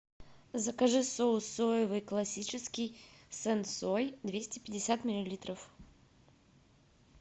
закажи соус соевый классический сенсой двести пятьдесят миллилитров